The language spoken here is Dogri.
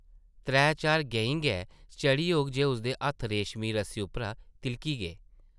त्रै-चार गैंईं गै चढ़ी होग जे उसदे हत्थ रेशमी रस्सी उप्परा तिʼलकी गे ।